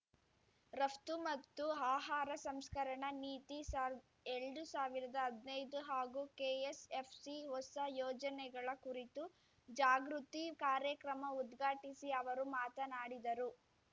ರಫ್ತು ಮತ್ತು ಆಹಾರ ಸಂಸ್ಕರಣಾ ನೀತಿ ಸಾಲ್ದ ಎಲ್ಡು ಸಾವಿರ್ದಾ ಹದ್ನೈದು ಹಾಗೂ ಕೆಎಸ್‌ಎಫ್‌ಸಿ ಹೊಸ ಯೋಜನೆಗಳ ಕುರಿತು ಜಾಗೃತಿ ಕಾರ್ಯಕ್ರಮ ಉದ್ಘಾಟಿಸಿ ಅವರು ಮಾತನಾಡಿದರು